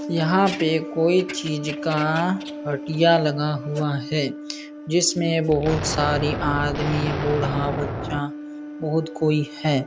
यहाँ पे कोई चीज़ का हटिया लगा हुआ है। जिसमे बहुत सारे आदमी बूढ़ा बच्चा बहुत कोई हैं।